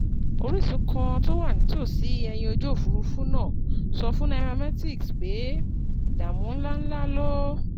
Orísun kan tó wà nítòsí ẹ̀yìn ojú òfuurufú náà sọ fún Nairametrics pé ìdààmú ńláǹlà ló